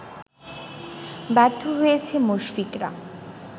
ব্যর্থ হয়েছে মুশফিকরা